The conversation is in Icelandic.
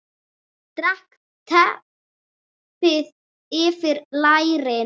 Dreg teppið yfir lærin.